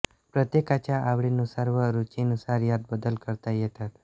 प्रत्येकाच्या आवडीनुसार व रुचीनुसार यात बदल करता येतात